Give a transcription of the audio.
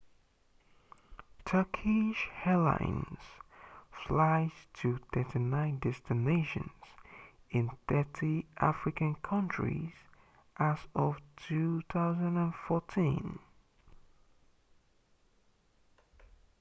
turkish airlines flies to 39 destinations in 30 african countries as of 2014